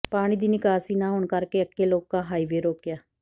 ਪਾਣੀ ਦੀ ਨਿਕਾਸੀ ਨਾ ਹੋਣ ਕਾਰਨ ਅੱਕੇ ਲੋਕਾਂ ਹਾਈਵੇ ਰੋਕਿਆ